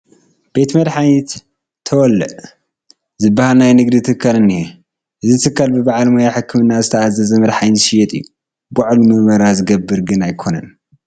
ቤት መድሓኒት ተወለ ዝበሃል ናይ ንግዲ ትካል እኒሀ፡፡ እዚ ትካል ብበዓል ሞያ ሕክምና ዝተኣዘዘ መድሓኒት ዝሸይጥ እዩ፡፡ ባዕሉ ምርመራ ዝገብር ግን ኣይኮነን፡፡